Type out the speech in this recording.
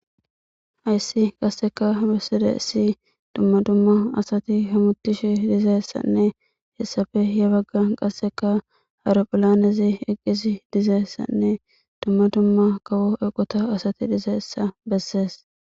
Hayssi qasseka besside issi dumma dumma asati hamutish dizeessanne hessafe ye bagga qasseka haeropholanezi eqqisi dizeessanne dumma dumma kawo eqota asati dizeessa bessees.